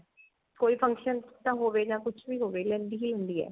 ਕੋਈ function ਤਾਂ ਹੋਵੇ ਜਾਂ ਕੁਛ ਵੀ ਹੋਵੇ ਲੈਂਦੀ ਹੀ ਲੈਂਦੀ ਹੈ